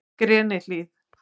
Grenihlíð